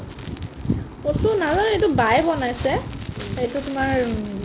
কচু নাজানো এইটো বায়ে বনাইছে এইটো তোমাৰ উম